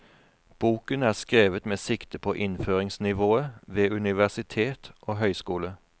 Boken er skrevet med sikte på innføringsnivået ved universitet og høgskole.